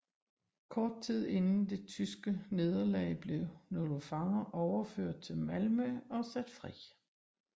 Kort tid inden det tyske nederlag blev nogle fanger overført til Malmø og sat fri